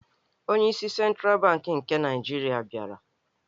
Onyeisi Sentral Bankị nke Naijirịa bịara.